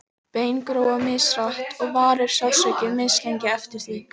bein gróa mishratt og varir sársauki mislengi eftir því